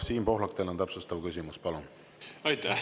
Siim Pohlak, teil on täpsustav küsimus, palun!